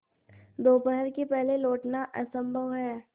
दोपहर के पहले लौटना असंभव है